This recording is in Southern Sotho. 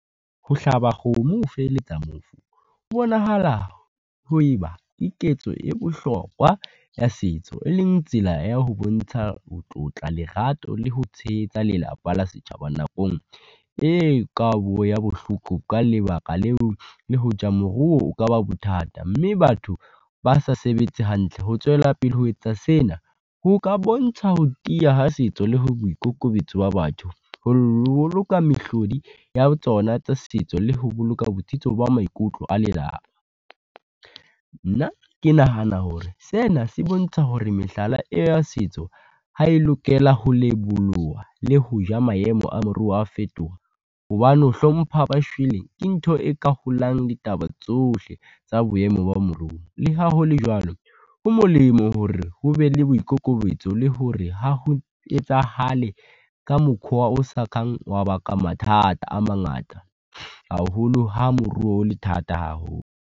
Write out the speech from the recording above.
Ho hlaba kgomo ho feheletsa mofu, ho bonahala ho e ba ke ketso e bohlokwa ya setso, e leng tsela ya ho bontsha ho tlotla lerato le ho tshehetsa lelapa la setjhaba nakong e kalo ya bohloko. Ka lebaka leo, le hoja o kaba bothata mme batho ba sa sebetse hantle ho tswela pele ho etsa sena ho ka bontsha ho tiya ha setso le ho boikokobetso wa batho, ho boloka mehlodi ya tsona tsa setso le ho boloka botsitso ba maikutlo a lelapa. Nna ke nahana hore sena se bontsha hore mehlala ya setso ha e lokela ho leboloha, le ho ja maemo a moruo a fetoha, hobane ho hlompha ba shweleng, ke ntho e ka holang ditaba tsohle tsa boemo ba moruo. Le ha ho le jwalo, ho molemo hore ho be le boikokobetso le hore ha ho etsahale ka mokhwa o sa kang wa baka mathata a mangata, haholo ha moruo le thata haholo.